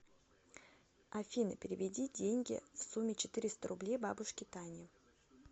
афина переведи деньги в сумме четыреста рублей бабушке тане